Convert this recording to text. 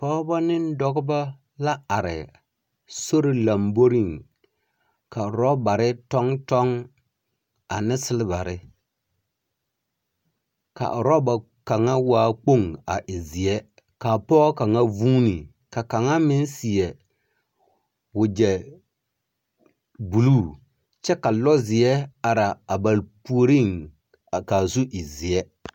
Pͻgebͻ ne dͻbͻ la are sori lamboriŋ ka orͻbare tͻŋ tͻŋ ane selebare. Ka orͻba kaŋa waa kpoŋ a e zeԑ ka a pͻge kaŋa vuuni ka kaŋa meŋ seԑ wagyԑ buluu kyԑ ka lͻzeԑ ara a ba puoriŋ kyԑ ka a zu e zeԑ.